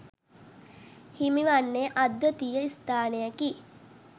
හිමිවන්නේ අද්විතීය ස්ථානයකි